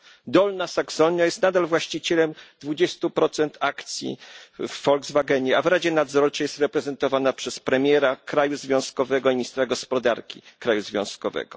Dolna Saksonia jest nadal właścicielem 20 akcji w Volkswagenie, a w radzie nadzorczej jest reprezentowana przez premiera kraju związkowego i ministra gospodarki kraju związkowego.